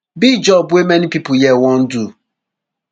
be job wey many pipo here wan do